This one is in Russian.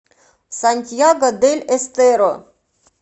сантьяго дель эстеро